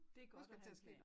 Det godt at have en plan